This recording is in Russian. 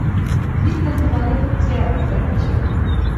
битва за планету терра закачай